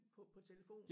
På på telefonen